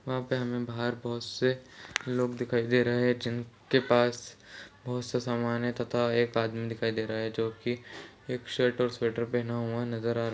वहाँ पर हमें बाहर बहुत से लोग दिखाई दे रहे हैं जिन के पास बहुत सा समान है तथा एक आदमी दिखाई दे रहा है जो की एक शर्ट और स्वेटर पहना हुआ नजर आ रहा--